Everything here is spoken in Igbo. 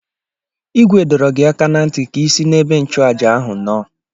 Igwe dọrọ gi aka na nti ka i si n'ebe nchuaja ahu no!